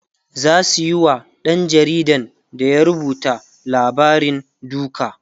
zasu Yi wa ɗan jaridan da ya rubuta labarin duka